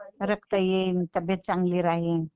रक्त येईल तब्बेत चांगली राहील.